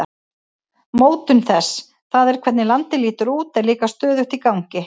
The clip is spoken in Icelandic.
Mótun þess, það er hvernig landið lítur út, er líka stöðugt í gangi.